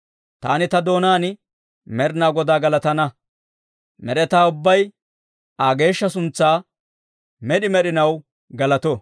Taani ta doonaan Med'inaa Godaa galatana. Med'etaa ubbay Aa geeshsha suntsaa med'i med'inaw galato!